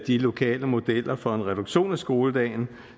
de lokale modeller for en reduktion af skoledagen